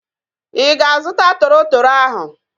Ị ga-azuta toro toro ahu?